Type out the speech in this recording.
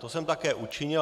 To jsem také učinil.